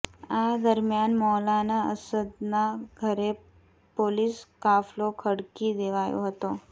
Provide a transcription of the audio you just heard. આ દરમ્યાન મૌલાના અસદના ઘરે પોલીસ કાફલો ખડકી દેવાયો હતો